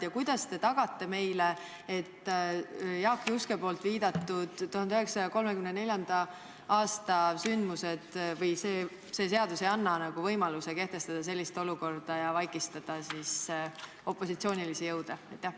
Ja kuidas te tagate meile, et uus seadus ei võimalda tekkida sellisel olukorral, nagu tekkis Jaak Juske viidatud 1934. aastal, kui riigis vaigistati opositsioonilisi jõude?